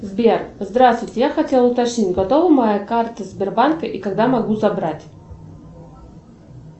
сбер здравствуйте я хотела уточнить готова моя карта сбербанка и когда могу забрать